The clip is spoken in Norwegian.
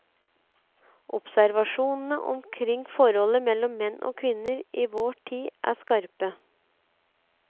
Observasjonene omkring forholdet mellom menn og kvinner i vår tid er skarpe.